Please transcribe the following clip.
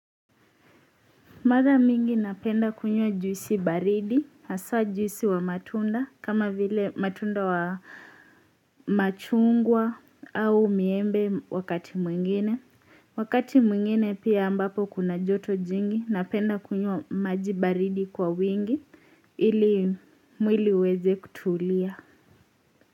Mara mingi napenda kunywa juisi baridi haswa juisi wa matunda kama vile matunda wa machungwa au miembe wakati mwingine wakati mwingine pia ambapo kuna joto jingi napenda kunywa maji baridi kwa wingi ili mwili uweze kutulia.